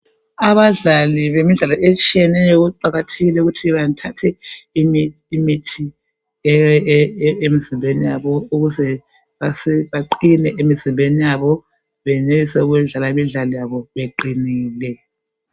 Abadlali bemidlalo etshineneyo kuqakathekile ukuthi bathathe imithi emizimbeni yabo ukuze baqine emizimbeni yabo benelise ukudlala imidlalo yabo beqinile.